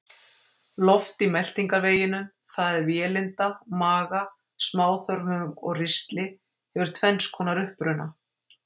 Loft í meltingarveginum, það er vélinda, maga, smáþörmum og ristli, hefur tvenns konar uppruna.